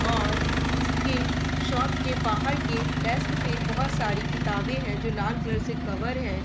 और इसके शॉप के बहार के डेस्क पे बहोत सारी क़िताबे हैं जो लाल कलर से कवर है।